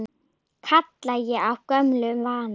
kalla ég af gömlum vana.